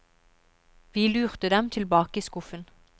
Vi lurte dem tilbake i skuffen.